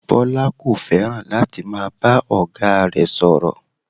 Bọ́lá kò fẹ́ràn láti máa bá ọ̀gá rẹ̀ sọ̀rọ̀